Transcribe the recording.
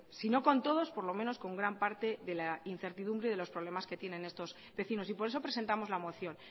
sino con todos por lo menos con gran parte de la incertidumbre de los problemas que tienen estos vecinos y por eso presentamos la moción